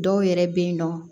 Dɔw yɛrɛ bɛ yen nɔ